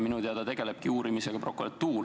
Minu teada tegelebki uurimisega prokuratuur.